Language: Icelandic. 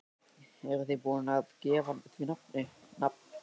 Eruð þið búin að gefa því nafn, nafn?